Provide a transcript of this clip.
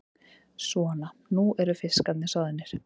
Svona, nú eru fiskarnir soðnir.